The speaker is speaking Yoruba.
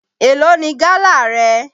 Èló ni gálà rẹ?